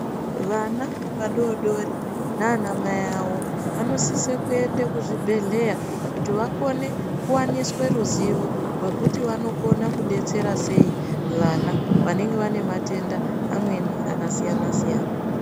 Vana vadodori nanamai avo vanosise kuende kuzvibhehleya kuti vakone kuwaniswe ruzivo rwekuti vanokone kudetsera sei vana vanenge vanematenda amweni akasiyanasiyana.